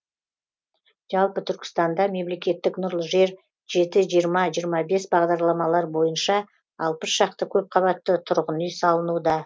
жалпы түркістанда мемлекеттік нұрлы жер жеті жиырма жиырма бес бағдарламалары бойынша алпыс шақты көпқабатты тұрғын үй салынуда